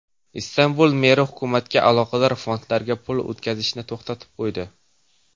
Istanbul meri hukumatga aloqador fondlarga pul o‘tkazishni to‘xtatib qo‘ydi.